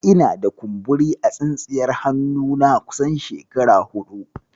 Ina da. kumburi a tsintsiyar hannuna kusan shekara huɗu.